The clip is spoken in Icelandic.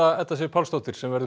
Edda Sif Pálsdóttir sem verður með